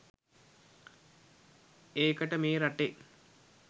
ඒකට මේ රටේ